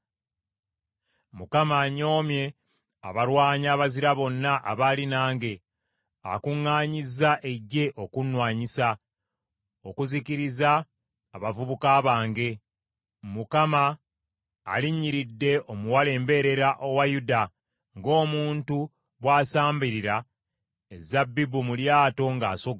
“Mukama anyoomye abalwanyi abazira bonna abaali nange; akuŋŋaanyizza eggye okunwanyisa, okuzikiriza abavubuka bange. Mukama alinnyiridde Omuwala Embeerera owa Yuda, ng’omuntu bw’asambirira ezabbibu mu lyato ng’asogola.